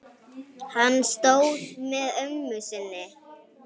Hann stóð með ömmu sinni.